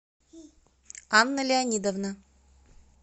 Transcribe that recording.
анна леонидовна